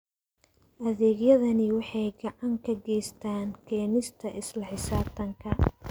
Adeegyadani waxay gacan ka geystaan ??keenista isla xisaabtanka.